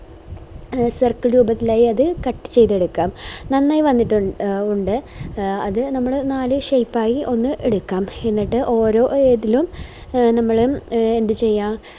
circle രൂപത്തിലായത് cut ചെയ്ത എടുക്കാം നന്നായി വന്നിട്ട് ഉണ്ട് അത് നമ്മൾ നാല് shape ആയി ഒന്ന് എടുക്കാം എന്നിട്ട് ഓരോ ഇതിലും നമ്മള് എന്ത് ചെയ്യാ